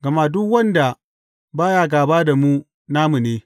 Gama duk wanda ba ya gāba da mu, namu ne.